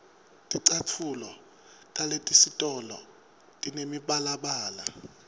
ticatfulo talesitolo tinemibalabala